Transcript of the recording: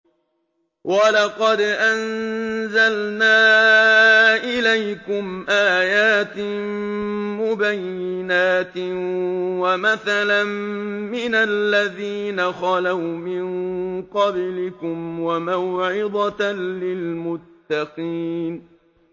وَلَقَدْ أَنزَلْنَا إِلَيْكُمْ آيَاتٍ مُّبَيِّنَاتٍ وَمَثَلًا مِّنَ الَّذِينَ خَلَوْا مِن قَبْلِكُمْ وَمَوْعِظَةً لِّلْمُتَّقِينَ